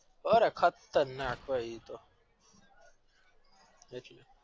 અરે ખાત્ર નાકભાઈ એતો